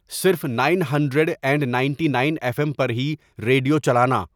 صرف nine hundred and ninety nine F M پر ہی ریڈیو چلانا